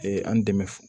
Ee an dɛmɛ